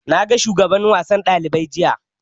Na ga shugaban wasan ɗalibai jiya